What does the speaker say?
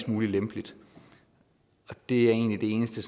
muligt det er egentlig det eneste